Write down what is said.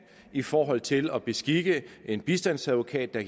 i forhold til at beskikke en bistandsadvokat der